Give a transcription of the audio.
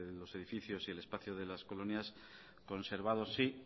los edificios y el espacio de las colonias conservados sí